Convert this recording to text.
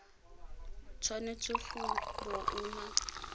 tshwanetse go bo o na